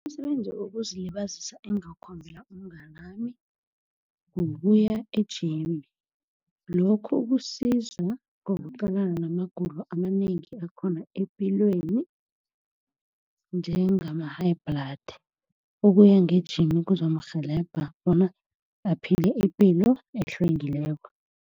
Umsebenzi wokuzilibazisa engingakhombela umnganami kukuya e-gym. Lokhu kusiza ngokuqalana namagulo amanengi akhona epilweni, njengama-high blood. Ukuya nge-gym kuzomrhelebha bona aphile ipilo ehlwengileko.